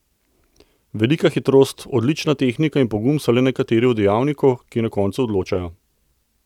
Velika hitrost, odlična tehnika in pogum so le nekateri od dejavnikov, ki na koncu odločajo.